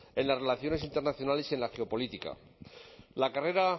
en las relaciones internacionales y en la geopolítica la carrera